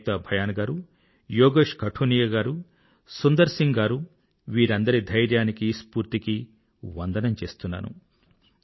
ఏక్తా భయాన్ గారు యోగేష్ కఠురియా గారు సుందర్ సింగ్ గారూ వీరందరి ధైర్యానికీ స్ఫూర్తికీ వందనం చేస్తున్నాను